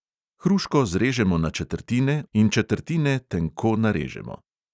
Hruško zrežemo na četrtine in četrtine tenko narežemo.